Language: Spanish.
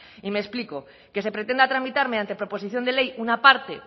y me explico que se pretenda tramitar mediante proposición de ley una parte